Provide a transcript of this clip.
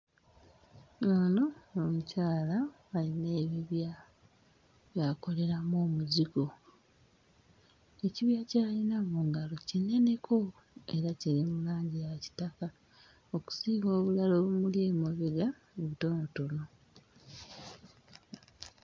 Ono omukyala ayina ebibya by'akoleramu omuzigo. Ekibya ky'ayina mu ngalo kineneko era kiri mu langi ya kitaka okusinga obulala obumuli emabega obutonotono.